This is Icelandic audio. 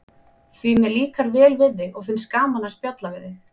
Því mér líkar vel við þig og finnst gaman að spjalla við þig.